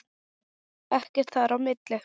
Ekkert þar á milli.